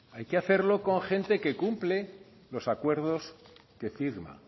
hay que hacerlo que gente que cumple los acuerdos que firma